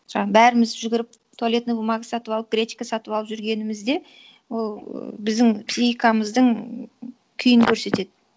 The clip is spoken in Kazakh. бәріміз жүгіріп туалетный бумага сатып алып гречка сатып алып жүргеніміз де ол біздің психикамыздың күйін көрсетеді